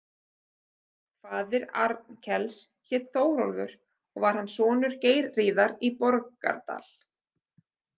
Faðir Arnkels hét Þórólfur og var hann sonur Geirríðar í Borgardal.